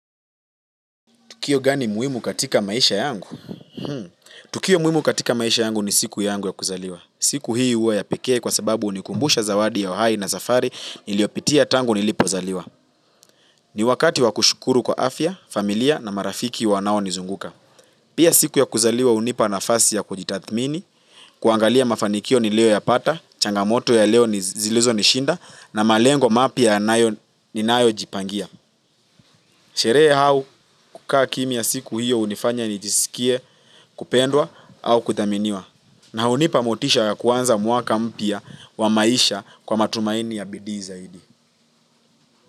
Tukio gani muhimu katika maisha yangu? Tukio muimu katika maisha yangu ni siku yangu ya kuzaliwa. Siku hii huwa ya pekee kwa sababu hunikumbusha zawadi ya uhai na safari niliyopitia tangu nilipozaliwa. Ni wakati wa kushukuru kwa afya, familia na marafiki wanao nizunguka. Pia siku ya kuzaliwa hunipa nafasi ya kujitathmini, kuangalia mafanikio niliyoyapata, changamoto ya leo ni zilizo nishinda na malengo mapya ni nayo jipangia. Sherehe au kukaa kimya siku hiyo hunifanya nijisikie kupendwa au kudhaminiwa na hunipa motisha ya kuanza mwaka mpya wa maisha kwa matumaini ya bidii zaidi.